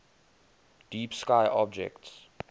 deep sky objects